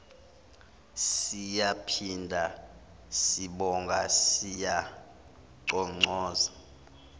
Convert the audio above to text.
siyaphinda sibonga siyanconcoza